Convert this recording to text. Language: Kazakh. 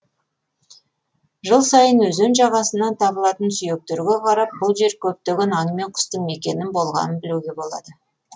жыл сайын өзен жағасынан табылатын сүйектерге қарап бұл жер көптеген аң мен құстың мекені болғанын білуге болады